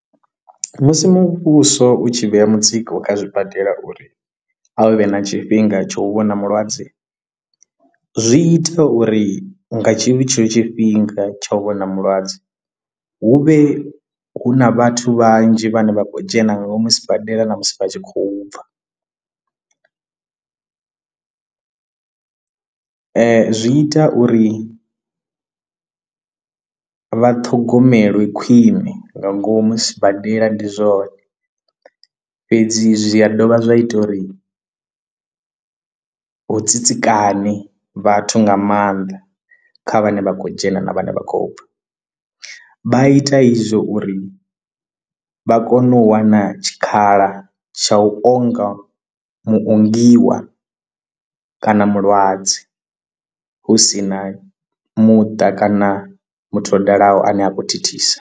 Musi muvhuso u tshi vhea mutsiko kha zwibadela uri a vhe na tshifhinga tsha u vhona mulwadze zwi ita uri nga tshivhi tshetsho tshifhinga tsha u vhona mulwadze hu vhe hu na vhathu vhanzhi vhane vha khou dzhena nga ngomu sibadela na musi vha tshi khou bva. Ee zwi ita uri vha ṱhogomelwe khwiṋe nga ngomu sibadela ndi zwone, fhedzi zwi dovha zwa ita uri hu tsitsikana vhathu nga maanḓa kha vhane vha khou dzhena na vhane vha khou bva, vha ita izwo uri vha kone u wana tshikhala tsha u onga muongiwa kana mulwadze hu sina muṱa kana muthu o dalaho ane a khou thithisa.